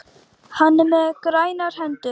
Hann er með grænar hendur.